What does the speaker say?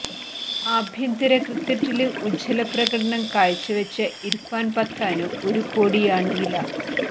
ആഭ്യന്തര ക്രിക്കറ്റില് ഉജ്വല പ്രകടനം കാഴ്ച വെച്ച ഇര്ഫാന് പത്താന് ഒരു കോടിയാണ് വില